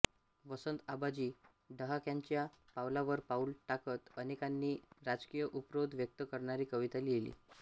वसंत आबाजी डहाक्यांच्या पावलावर पाऊल टाकत अनेकांनी राजकीय उपरोध व्यक्त करणारी कविता लिहिली